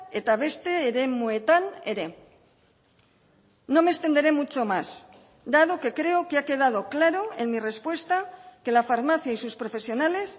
eta beste eremuetan ere no me extenderé mucho más dado que creo que ha quedado claro en mi respuesta que la farmacia y sus profesionales